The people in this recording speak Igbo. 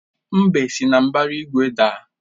Mbe si na mbara igwe daa.